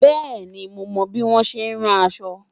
bẹẹni, mo mo bi wọn ṣẹ ràn aṣọ